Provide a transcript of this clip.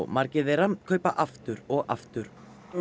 margir þeirra kaupa aftur og aftur